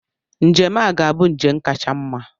Njem a ga-abụ njem kacha mma.